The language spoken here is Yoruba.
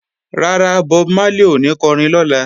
Rárá, Bob Marley ò ní kọrin lọ́la